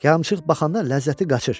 Yarımçıq baxanda ləzzəti qaçır.